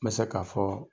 N bɛ se k'a fɔ